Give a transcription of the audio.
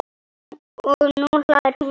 Og nú hlær hún.